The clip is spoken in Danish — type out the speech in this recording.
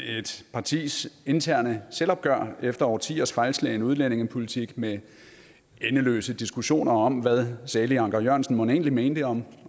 partis interne selvopgør efter årtiers fejlslagne udlændingepolitik med endeløse diskussioner om hvad salig anker jørgensen mon egentlig mente om